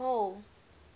hall